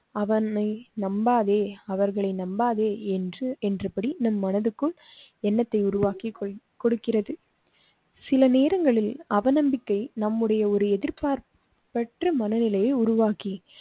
அவனை நம்பாதே. அவர்களை நம்பாதே என்று என்றபடி நம் மனதுக்குள் எண்ணத்தை உருவாக்கி கொடுக்கிறது. சில நேரங்களில் அவநம்பிக்கை நம்முடைய ஒரு எதிர்பார்ப்பற்ற மனநிலையை உருவாக்கி